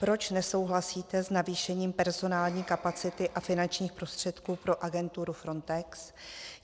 Proč nesouhlasíte s navýšením personální kapacity a finančních prostředků pro agenturu Frontex?